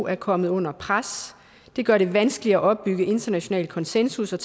er kommet under pres det gør det vanskeligere at opbygge international konsensus og